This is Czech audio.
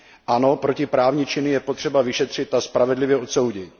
Ano, protiprávní činy je potřeba vyšetřit a spravedlivě odsoudit.